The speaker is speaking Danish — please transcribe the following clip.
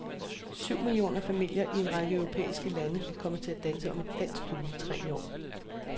Syv millioner familier i en række europæiske lande kommer til at danse om et dansk juletræ i år.